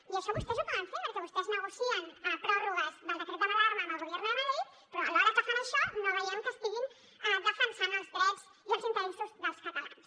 i això vostès ho poden fer perquè vostès negocien pròrrogues del decret d’alarma amb el gobierno de madrid però alhora que fan això no veiem que estiguin defensant els drets i els interessos dels catalans